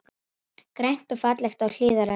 Grænt og fallegt á Hlíðarenda